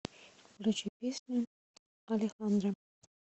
включи песню алехандро